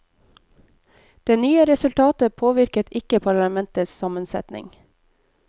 Det nye resultatet påvirket ikke parlamentets sammensetning.